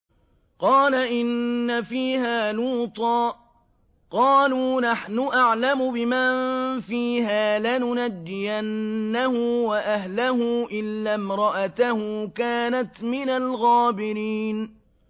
قَالَ إِنَّ فِيهَا لُوطًا ۚ قَالُوا نَحْنُ أَعْلَمُ بِمَن فِيهَا ۖ لَنُنَجِّيَنَّهُ وَأَهْلَهُ إِلَّا امْرَأَتَهُ كَانَتْ مِنَ الْغَابِرِينَ